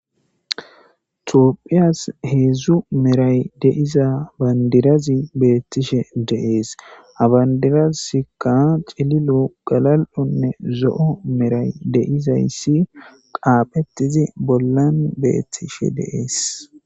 Toopphiyas heedzdzu meray deiza bandirazi beettishe deees abandiraskka cililo galal7onne zo7o meray deizayssi qaaphetizi bollan beettishe deees.